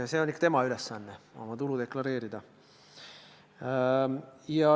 See on ikka tema ülesanne oma tulu deklareerida.